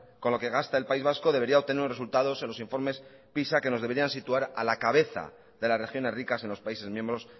con lo que gasta el país vasco debería obtener unos resultados en los informes pisa que nos deberían de situar a la cabeza de las regiones ricas en los países miembros